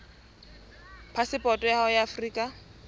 phasepoto ya hao ya afrika